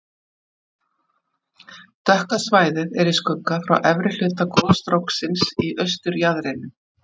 dökka svæðið er í skugga frá efri hluta gosstróksins í austurjaðrinum